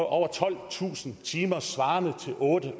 over tolvtusind timer svarende til otte